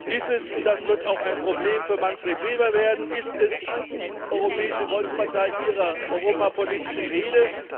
Ist es und das wird auch ein Problem für Manfred Weber werden ist es die Europäische Volkspartei Ihrer europapolitischen Rede?